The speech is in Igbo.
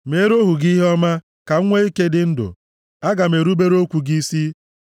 Meere ohu gị ihe ọma, ka m nwe ike dị ndụ; aga m erubere okwu gị isi.